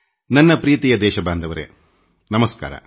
ನನ್ನ ನಲ್ಮೆಯ ದೇಶ ವಾಸಿಗಳೇನಮಸ್ಕಾರ